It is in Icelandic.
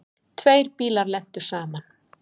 Tveir bílar lentu saman.